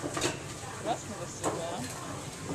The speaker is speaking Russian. красного села